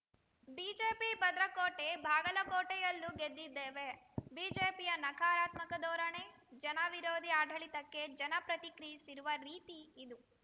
BJP ಭದ್ರಕೋಟೆ ಬಾಗಲಕೋಟೆಯಲ್ಲೂ ಗೆದ್ದಿದ್ದೇವೆ ಬಿಜೆಪಿಯ ನಕಾರಾತ್ಮಕ ಧೋರಣೆ ಜನ ವಿರೋಧಿ ಆಡಳಿತಕ್ಕೆ ಜನ ಪ್ರತಿಕ್ರಿಯಿಸಿರುವ ರೀತಿಯಿದು